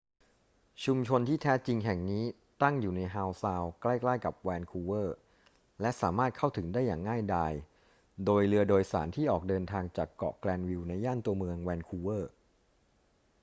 ชุมชนที่แท้จริงแห่งนี้ตั้งอยู่ในฮาวซาวด์ใกล้ ๆ กับแวนคูเวอร์ และสามารถเข้าถึงได้อย่างง่ายดายโดยเรือโดยสารที่ออกเดินทางจากเกาะแกรนวิลล์ในย่านตัวเมืองแวนคูเวอร์